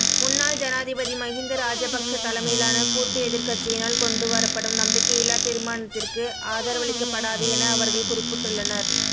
முன்னாள் ஜனாதிபதி மஹிந்த ராஜபக்ஸ தலைமையிலான கூட்டு எதிர்க்கட்சியினால் கொண்டு வரப்படும் நம்பிக்கையில்லா தீர்மானத்திற்கு ஆதவரளிக்கப்படாது என அவர்கள் குறிப்பிட்டுள்ளனர்